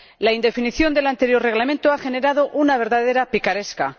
La indefinición del anterior Reglamento ha generado una verdadera picaresca.